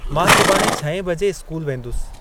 मां सुभाणे छहें बजे इस्कूल वेंदुसि।